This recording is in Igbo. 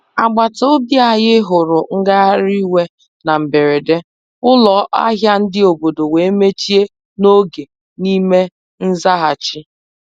Agbata obi anyị huru ngagharị iwe na mberede, ụlọ ahịa ndi obodo wee mechie n'oge n'ime nzaghachi.